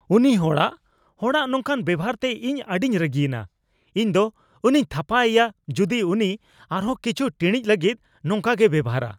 ᱩᱱᱤ ᱦᱚᱲᱟᱜ ᱦᱚᱲᱟᱜ ᱱᱚᱝᱠᱟᱱ ᱵᱮᱣᱦᱟᱨᱛᱮ ᱤᱧ ᱟᱹᱰᱤᱧ ᱨᱟᱹᱜᱤᱭᱮᱱᱟ ᱾ ᱤᱧ ᱫᱚ ᱩᱱᱤᱧ ᱛᱷᱟᱯᱟ ᱤᱭᱟ ᱡᱩᱫᱤ ᱩᱱᱤ ᱟᱨᱦᱚᱸ ᱠᱤᱪᱷᱩ ᱴᱤᱲᱤᱡ ᱞᱟᱹᱜᱤᱫ ᱱᱚᱝᱠᱟᱜᱮᱭ ᱵᱮᱣᱦᱟᱨᱼᱟ ᱾